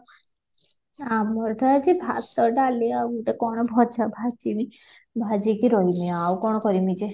ଆମର ତ ଆଜି ଭାତ ଡାଲି ଆଉ ଗୋଟେ କ'ଣ ଭଜା ଭାଜିମି ଭାଜିକି ରହିମି ଆଉ କ'ଣ କରିମି ଯେ?